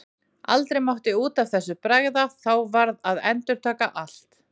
Aldrei mátti út af þessu bregða, þá varð að endurtaka allt.